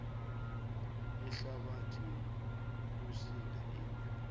ihlabathi yokusinda izindlu